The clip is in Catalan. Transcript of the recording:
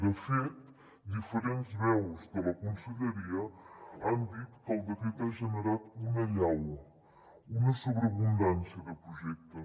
de fet diferents veus de la conselleria han dit que el decret ha generat una allau una sobreabundància de projectes